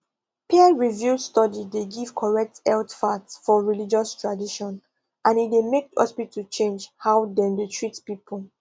peerreviewed study dey give correct health facts for religious tradition and e dey make hospital change how dem dey treat people